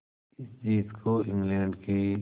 इस जीत को इंग्लैंड के